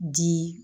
Ji